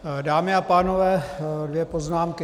Dámy a pánové, dvě poznámky.